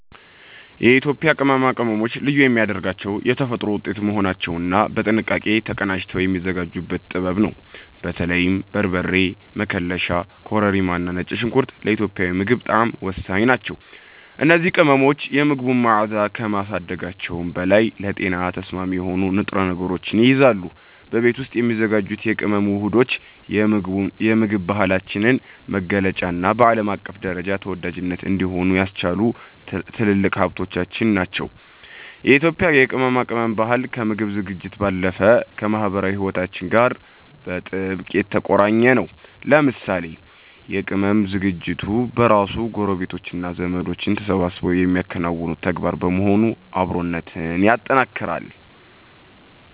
የኢትዮጵያ ቅመማ ቅመሞችን ልዩ የሚያደርጋቸው የተፈጥሮ ውጤት መሆናቸውና በጥንቃቄ ተቀናጅተው የሚዘጋጁበት ጥበብ ነው። በተለይም በርበሬ፣ መከለሻ፣ ኮረሪማና ነጭ ሽንኩርት ለኢትዮጵያዊ ምግብ ጣዕም ወሳኝ ናቸው። እነዚህ ቅመሞች የምግቡን መዓዛ ከማሳደጋቸውም በላይ ለጤና ተስማሚ የሆኑ ንጥረ ነገሮችን ይይዛሉ። በቤት ውስጥ የሚዘጋጁት የቅመም ውህዶች የምግብ ባህላችንን መገለጫና በዓለም አቀፍ ደረጃ ተወዳጅ እንዲሆን ያስቻሉ ትልልቅ ሀብቶቻችን ናቸው። የኢትዮጵያ የቅመማ ቅመም ባህል ከምግብ ዝግጅት ባለፈ ከማኅበራዊ ሕይወታችን ጋር በጥብቅ የተቆራኘ ነው። ለምሳሌ የቅመም ዝግጅት በራሱ ጎረቤቶችና ዘመዶች ተሰባስበው የሚያከናውኑት ተግባር በመሆኑ አብሮነትን ያጠናክራል።